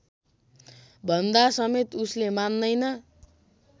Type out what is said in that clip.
भन्दासमेत उसले मान्दैन